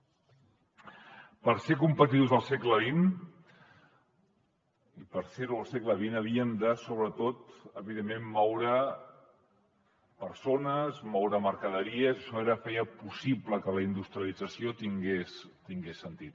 per ser competitius al segle xx havíem de sobretot evidentment moure persones moure mercaderies això feia possible que la industrialització tingués sentit